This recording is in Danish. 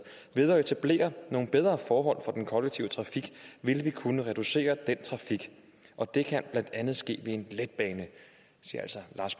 ved at etablere nogle bedre forhold for den kollektive trafik vil vi kunne reducere den trafik og det kan blandt andet ske ved en letbane sagde altså lars